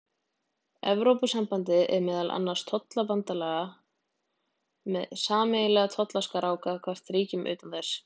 Evrópusambandið er meðal annars tollabandalag með sameiginlega tollskrá gagnvart ríkjum utan þess.